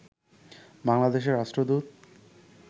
বাংলাদেশের রাষ্ট্রদূত